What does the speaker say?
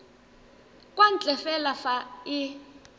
kwa ntle fela fa e